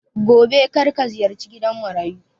Gobe karka ziyarci gidan Marayu